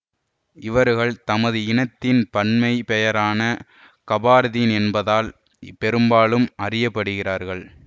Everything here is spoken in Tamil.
இவர்கள் தமது இனத்தின் பன்மைப் பெயரான கபார்தீன் என்பதால் பெரும்பாலும் அறியப்படுகிறார்கள்